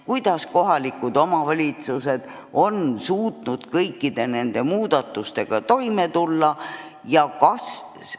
Kuidas kohalikud omavalitsused on suutnud kõikide nende muudatustega toime tulla?